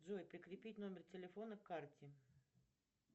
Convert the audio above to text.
джой прикрепить номер телефона к карте